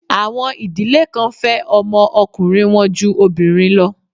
Àwọn ìdílé kan fẹ́ ọmọ ọkùnrin wọn ju obìnrin lọ.